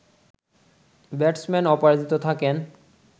batsman অপরাজিত থাকেন